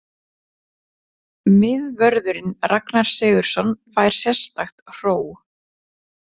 Miðvörðurinn Ragnar Sigurðsson fær sérstakt hró.